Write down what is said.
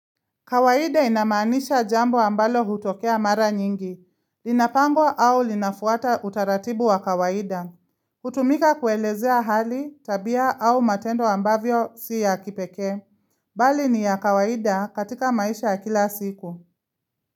Kawaida inamaanisha jambo ambalo hutokea mara nyingi, linapangwa au linafuata utaratibu wa kawaida. Hutumika kuelezea hali, tabia au matendo ambavyo si ya kipekee. Bali ni ya kawaida katika maisha ya kila siku.